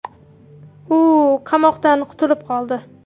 U qamoqdan qutulib qoldi.